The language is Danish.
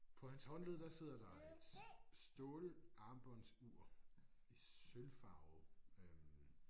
På hans håndled der sidder der et stålarmbåndsur i sølvfarve øh